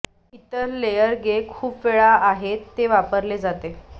इतर लेयर गे खूप वेळा आहेत ते वापरले जाते